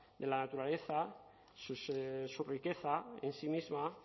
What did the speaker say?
de la naturaleza su riqueza en sí misma